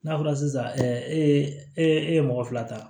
N'a fɔra sisan e e ye mɔgɔ fila ta